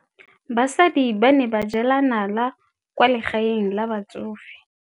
Basadi ba ne ba jela nala kwaa legaeng la batsofe.